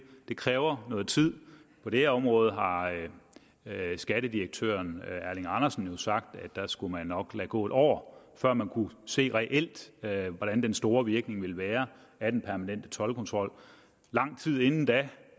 det kræver noget tid på det her område har skattedirektøren erling andersen jo sagt at der skulle man nok lade gå et år før man kunne se reelt reelt hvordan den store virkning ville være af den permanente toldkontrol lang tid inden da